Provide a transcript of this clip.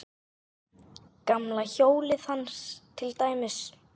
Gamla hjólið hans til dæmis.